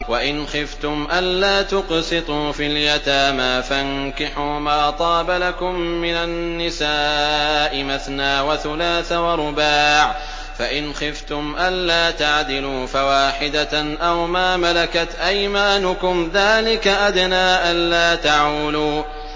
وَإِنْ خِفْتُمْ أَلَّا تُقْسِطُوا فِي الْيَتَامَىٰ فَانكِحُوا مَا طَابَ لَكُم مِّنَ النِّسَاءِ مَثْنَىٰ وَثُلَاثَ وَرُبَاعَ ۖ فَإِنْ خِفْتُمْ أَلَّا تَعْدِلُوا فَوَاحِدَةً أَوْ مَا مَلَكَتْ أَيْمَانُكُمْ ۚ ذَٰلِكَ أَدْنَىٰ أَلَّا تَعُولُوا